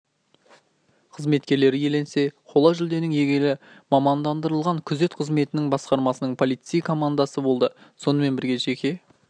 қызметкерлері иеленсе қола жүлденің иегері мамандырылған күзет қызметінің басқармасының полицейлер комндасы болды сонымен бірге жеке